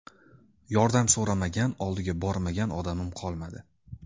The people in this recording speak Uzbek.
Yordam so‘ramagan, oldiga bormagan odamim qolmadi.